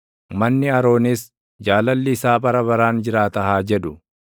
Manni Aroonis, “Jaalalli isaa bara baraan jiraata” haa jedhu.